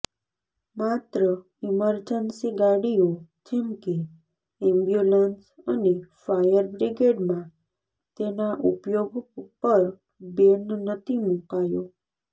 માત્ર ઈમરજન્સી ગાડીઓ જેમ કે એમ્બ્યુલન્સ અને ફાયર બ્રિગેડમાં તેના ઉપયોગ પર બેન નતી મૂકાયો